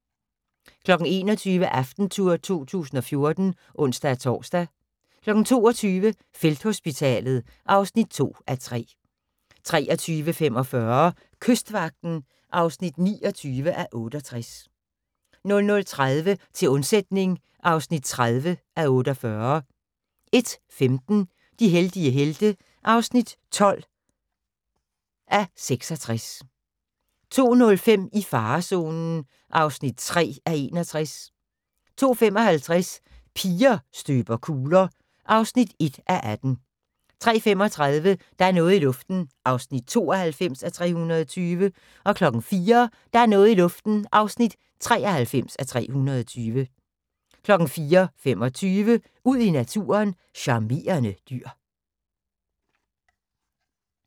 21:00: AftenTour 2014 (ons-tor) 22:00: Felthospitalet (2:3) 23:45: Kystvagten (29:68) 00:30: Til undsætning (30:48) 01:15: De heldige helte (12:66) 02:05: I farezonen (3:61) 02:55: Piger støber kugler (1:18) 03:35: Der er noget i luften (92:320) 04:00: Der er noget i luften (93:320) 04:25: Ud i naturen: Charmerende dyr